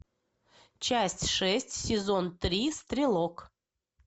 часть шесть сезон три стрелок